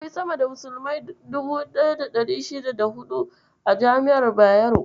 Akwai sama da musulmai 1564 a jami'ar Bayero.